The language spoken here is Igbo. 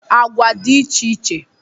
Agwa dị iche iche